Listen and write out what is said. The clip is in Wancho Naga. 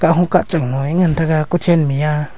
kahung ka chang lo ee ngantaga kochen me aa.